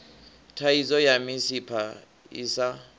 thaidzo ya misipha i sa